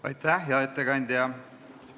Aitäh, hea ettekandja!